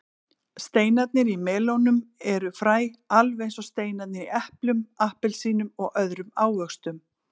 Steinarnir í melónum eru fræ alveg eins og steinarnir í eplum, appelsínum og öðrum ávöxtum.